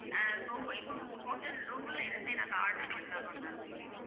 அது போக இப்ப hotel room ல இருந்தே நீங்க order பண்ணலாமா ma'am